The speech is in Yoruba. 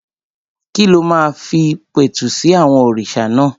Kí ló máa fi pẹ̀tù sí àwọn òrìṣà náà?